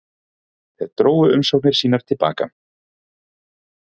Tveir drógu umsóknir sínar til baka